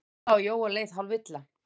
Lalla og Jóa leið hálfilla.